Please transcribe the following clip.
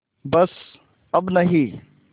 बस अब नहीं